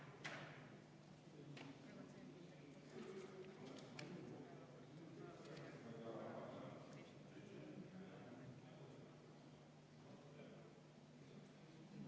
Loomulikult on väga vaieldav, kui suure ettevõtte puhul peab sellised fikseerimised ja elektroonilised fikseerimised kehtestama.